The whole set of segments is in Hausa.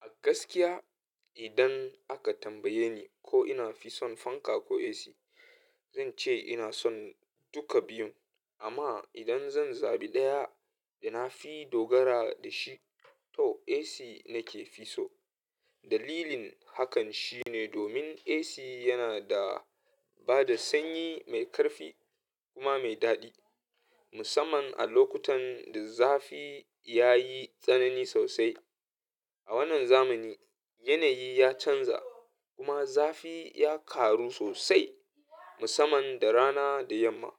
A gaskiya idan aka tambaye ni ko ina fi son fanka ko AC, zan ce ina son duka biyun. Amma idan zan zabi ɗaya da na fi dogara da shi, to AC nake fi so. Dalilin hakan shine domin AC yana da bada sanyi mai ƙarfi kuma mai daɗi, musamman a lokutan da zafi ya yi tsanani sosai. A wannan zamani, yanayi ya canza kuma zafi ya ƙaru sosai musamman da rana da yamma.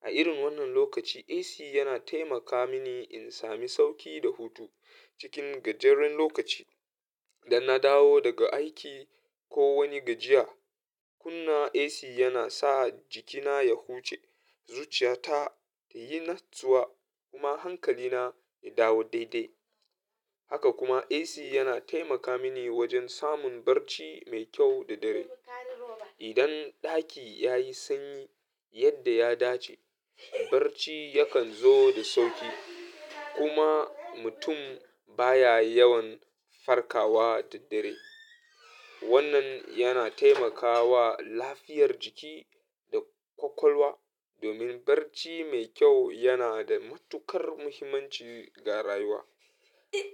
A irin wannan lokaci AC yana taimaka mini in sami sauƙi da hutu cikin gajeren lokaci da na dawo daga aiki ko wani gajiya. Kunna AC yana sa jikina ya huce zuciyata ta yi natsuwa kuma hankalina ya dawo daidai. Haka kuma AC yana taimaka mini wajen samun barci mai kyau da dare. Idan ɗaki ya yi sanyi yadda ya dace, barci yakan zo da sauƙi kuma mutum baya yawan farkawa da dare. Wannan yana taimakawa lafiyar jiki da ƙwaƙwalwa domin barci mai kyau yana da matuƙar muhimmanci ga rayuwa.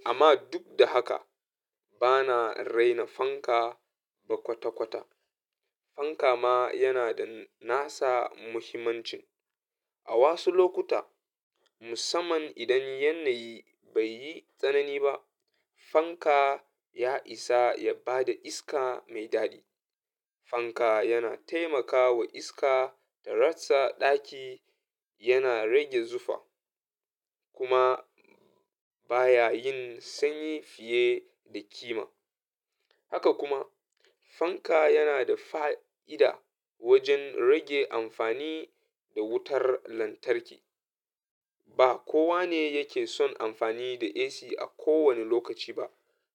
Amma duk da haka bana raina fanka ba kwata kwata. Fanka ma yana da nasa muhimmancin. A wasu lokuta musamman idan yanayi bai yi tsanani ba, fanka ya isa ya bada iska mai daɗi. Fanka yana taimaka wa iska da ratsa ɗaki, yana rage zufa kuma baya yin sanyi fiye da kima. Haka kuma fanka yana da fa'ida wajen rage amfani da wutar lantarki. Ba kowa ne yake son amfani da AC a kowane lokaci ba,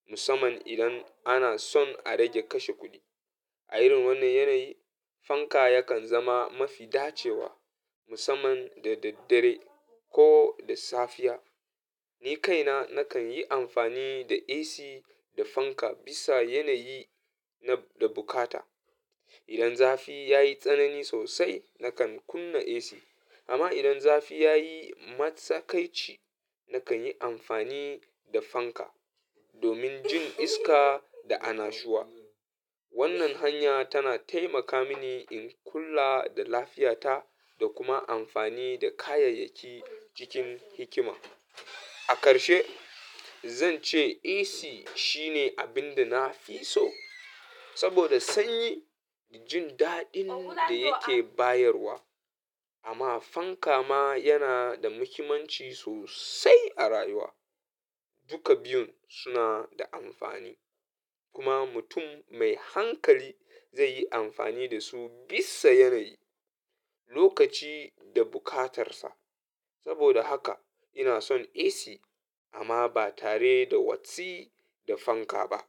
musamman idan ana son a rage kashe kuɗi. A irin wannan yanayi fanka yakan zama mafi dacewa musamman da daddare ko da safiya. Ni kaina nakan yi amfani da AC da fanka bisa yanayi da bukata. Idan zafi ya yi tsanani sosai nakan kunna AC amma idan zafi ya yi matsakaici nakan yi amfani da fanka domin jin iska da annashuwa. Wannan hanya tana taimaka mini in kula da lafiyata da kuma amfani da kayayyaki cikin hikima. A ƙarshe zan ce AC shine abin da na fi so saboda sanyi da jin daɗin da yake bayarwa. Amma fanka ma yana da muhimmanci sosai a rayuwa. Duka biyun suna da amfani kuma mutum mai hankali zai yi amfani da su bisa yanayi, lokaci da bukatarsa. Saboda haka ina son AC amma ba tare da watsi da fanka ba.